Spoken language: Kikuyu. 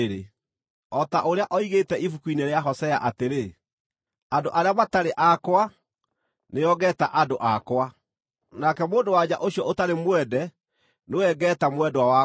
O ta ũrĩa oigĩte Ibuku-inĩ rĩa Hosea, atĩrĩ: “Andũ arĩa matarĩ akwa nĩo ngeeta ‘andũ akwa’; nake mũndũ-wa-nja ũcio ũtarĩ mwende nĩwe ngeeta ‘mwendwa wakwa.’ ”